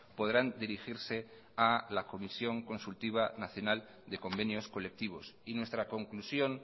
podrán dirigirse a la comisión consultiva nacional de convenios colectivos y nuestra conclusión